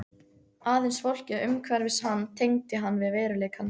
Aðeins fólkið umhverfis hann tengdi hann við veruleikann.